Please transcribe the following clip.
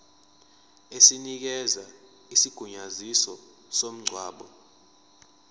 esinikeza isigunyaziso somngcwabo